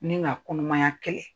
Ne ka kumaya kɛlɛ